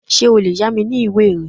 Ṣé o lè yá mi ní ìwé rẹ?